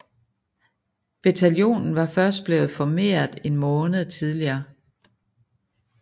Bataljonen var først blevet formeret en måned tidligere